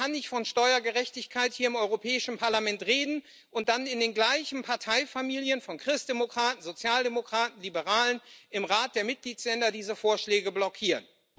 Man kann nicht von Steuergerechtigkeit hier im Europäischen Parlament reden und dann in den gleichen Parteifamilien von Christdemokraten, Sozialdemokraten und Liberalen im Rat der Mitgliedstaaten diese Vorschläge blockieren.